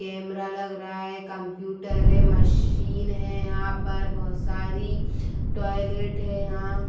Camera लग रहा है। कंप्यूटर है मशीन है यहां पर बहोत सारी। टॉयलेट है यहां।